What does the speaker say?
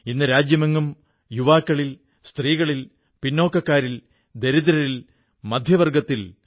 ഇന്ന് രാജ്യമെങ്ങും യുവാക്കളിൽ സ്ത്രീകളിൽ പിന്നാക്കക്കാരിൽ ദരിദ്രരിൽ മധ്യവർഗ്ഗത്തിൽ